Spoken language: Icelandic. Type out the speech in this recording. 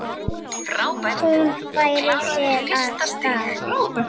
Hún færir sig úr stað.